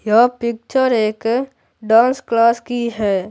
यह पिक्चर एक dance class की है।